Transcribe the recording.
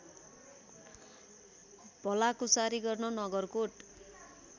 भलाकुसारी गर्न नगरकोट